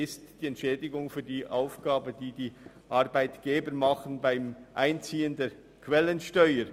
Das ist die Entschädigung für die Aufgabe der Arbeitgeber beim Einziehen der Quellensteuer.